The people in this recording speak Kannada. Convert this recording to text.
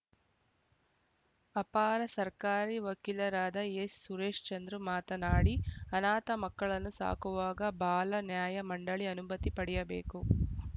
ಅಪರ ಸರ್ಕಾರಿ ವಕೀಲರಾದ ಎಸ್‌ಸುರೇಶ್‌ಚಂದ್ರ ಮಾತನಾಡಿ ಅನಾಥ ಮಕ್ಕಳನ್ನು ಸಾಕುವಾಗ ಬಾಲ ನ್ಯಾಯ ಮಂಡಳಿ ಅನುಮತಿ ಪಡೆಯಬೇಕು